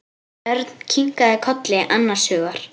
Örn kinkaði kolli annars hugar.